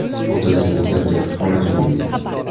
Otasi maktabda kutubxonachi bo‘lgan.